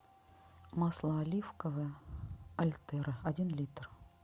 масло оливковое альтера один литр